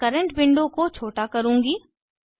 मैं current window को छोटा करुँगी